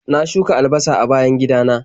Na shuka albasa a bayan gidana.